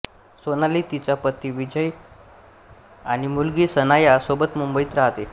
सोनाली तिचा पती बिजय आणि मुलगी सनाया सोबत मुंबईत राहते